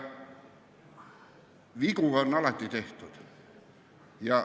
Vigu on alati tehtud.